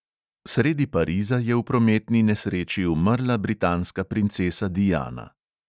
Sredi pariza je v prometni nesreči umrla britanska princesa diana.